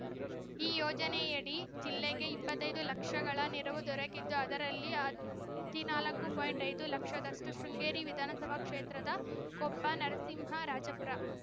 ಈ ಯೋಜನೆಯಡಿ ಜಿಲ್ಲೆಗೆ ಇಪ್ಪತ್ತೈದು ಲಕ್ಷಗಳ ನೆರವು ದೊರಕಿದ್ದು ಅದರಲ್ಲಿ ಹದಿನಾಲ್ಕು ಪಾಯಿಂಟ್ ಐದು ಲಕ್ಷದಷ್ಟು ಶೃಂಗೇರಿ ವಿಧಾನಸಭಾ ಕ್ಷೇತ್ರದ ಕೊಪ್ಪ ನರಸಿಂಹರಾಜಪುರ